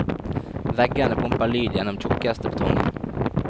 Veggene pumper lyd gjennom tjukkeste betongen.